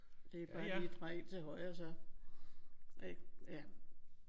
Det er bare lige at dreje ind til højre og så ik ja